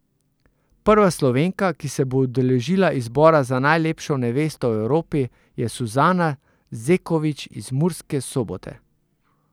Prva Slovenka, ki se bo udeležila izbora za najlepšo nevesto v Evropi, je Suzana Zeković iz Murske Sobote.